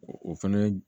O fɛnɛ